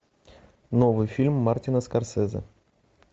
новый фильм мартина скорсезе